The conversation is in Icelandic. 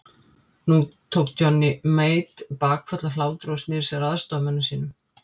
Nú tók Johnny Mate bakföll af hlátri og sneri sér að aðstoðarmönnum sínum.